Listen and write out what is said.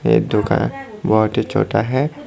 ये दुकान बहोत ही छोटा है।